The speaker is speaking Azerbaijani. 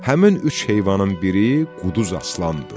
Həmin üç heyvanın biri Quduz Aslan idi.